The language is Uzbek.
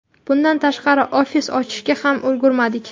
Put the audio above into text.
Bundan tashqari, ofis ochishga ham ulgurmadik.